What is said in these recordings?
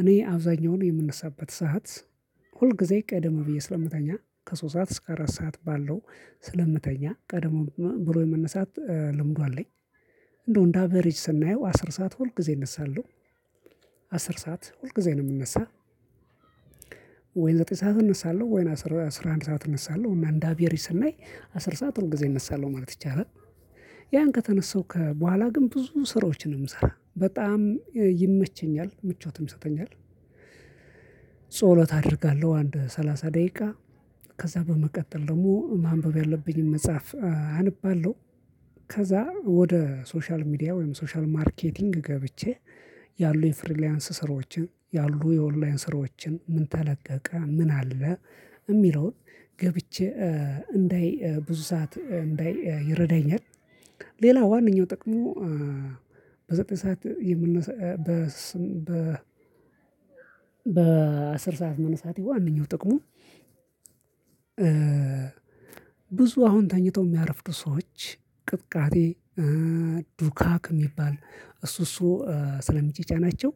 እኔ አብዛኛውን የምነሳበት ሰዓት ሁል ጊዜ ቀደም ብዬ ስለምታኛ ከሶስት ሰዓት እስከ አራት ሰዓት ባለው ስለምተኛ ቀድሞ ብሎ የመነሳት ልምዱ አለኝ እንደው እንደ አቬሬጅ ስናየው አስር ሰዓት ሁል ጊዜ እነሳለሁ አስር ሰዓት ሁል ጊዜ ነው የምነሳው። ወይም ዘጠኝ ሰዓት እነሳለሁ ወይም አስራ አስራ አንድ ሰዓት እነሳለሁ እና እንደ አቬሬጅ ስናይ አስር ሰዓት ሁል ጊዜ እነሳለሁ ማለት ይቻላል። ከተነሳው ከበኋላ ግን ብዙ ስራዎችን ነው የምሰራው በጣም ይመቸኛል ምቾትም ይሰጠኛል ጸሎት አደርጋለሁ። አንድ ሰላሳ ደቂቃ ከዛ በመቀጠል ደግሞ ማንበብ ያለብኝን መጽሐፍ አንባለው። ከዛ ወደ ሶሻል ሚዲያ ወይም ሶሻል ማርኬቲንግ ገብቼ ያሉ የፍሪላንስ ስራዎችን ያሉ የኦንላይን ስራዎችን ምን ተለቀቀ ምን አለ የሚለውን ገብቼ እንዳይ ብዙ ሰዓት እንዳይ ይረዳኛል ሌላ ዋንኛው ጥቅሙ በዘጠኝ ሰዓት የምነሳ በስም በ በአስር ሰዓት መነሳቴ ዋንኛው ጥቅሙ ብዙ አሁን ተኝተው የሚያርፍዱ ሰዎች ቅጥቃጤ ዱካክ የሚባል እሱ እሱ ስለሚጫጫናቸው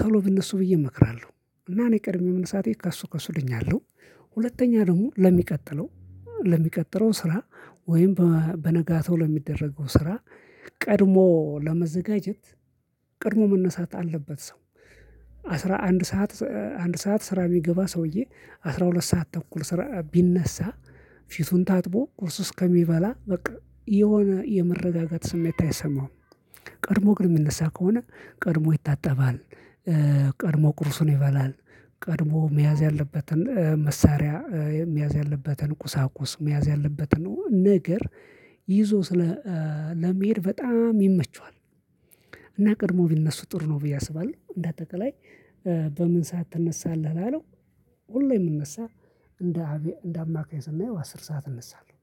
ቶሎ ቢነሱ ብዬ እመክራለሁ እና እኔ ቀድሜው መነሳቴ ከእሱ ከሱ ድኛለሁ። ሁለተኛ ደግሞ ለሚቀጥለው ለሚቀጥለው ስራ ወይም በነጋታው ለሚደረገው ስራ ቀድሞ ለመዘጋጀት ቀድሞ መነሳት አለበት ሰው አስራ አንድ ሰዓት አንድ ሰዓት ስራ የሚገባ ሰውዬ አስራ ሁለት ሰዓት ተኩል ስራ ቢነሳ ፊቱን ታጥቦ ቁርስ እስከሚበላ በቃ የሆነ የመረጋጋት ስሜት አይሰማውም ቀድሞ ግን የሚነሳ ከሆነ ቀድሞ ይታጠባል ቀድሞ ቁርሱን ይበላል። ቀድሞ መያዝ ያለበትን መሳሪያ፣ መያዝ ያለበትን ቁሳቁስ፣ መያዝ ያለበትን ነገር ይዞ ስለ ለመሄድ በጣም ይመቸዋል። እና ቀድሞ ቢነሱ ጥሩ ነው ብዬ አስባለሁ እንደ አጠቃላይ በምን ሰዓት ትነሳለህ ላለው፣ ሁሌ የምነሳው እንደ አቬ አንደ አማካይ ስናየው አስር ሰዓት እነሳለሁ